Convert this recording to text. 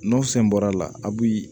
N'o fɛn bɔra a la a bi